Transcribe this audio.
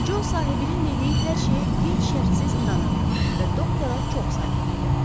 Co sahibinin dediyi hər şeyə qeyd şərtsiz inanırdı və doktora çox sadiq idi.